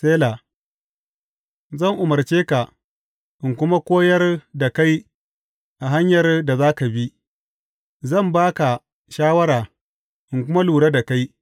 Sela Zan umarce ka in kuma koyar da kai a hanyar da za ka bi; Zan ba ka shawara in kuma lura da kai.